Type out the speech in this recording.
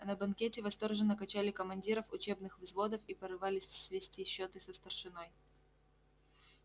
а на банкете восторженно качали командиров учебных взводов и порывались свести счёты со старшиной